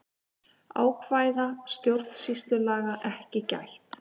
Ákvæða stjórnsýslulaga ekki gætt